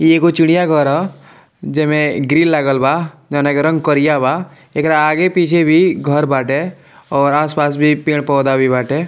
ई एगो चिड़िया घर ह जेमें ग्रिल लागल बा जोना के रंग करिया बा एकरा आगे पीछे भी घर बाटे और आस-पास भी पेड़-पौधा भी बाटे।